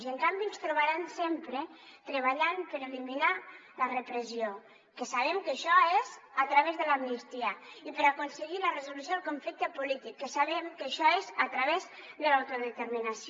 i en canvi ens trobaran sempre treballant per eliminar la repressió que sabem que això és a través de l’amnistia i per aconseguir la resolució del conflicte polític que sabem que això és a través de l’autodeterminació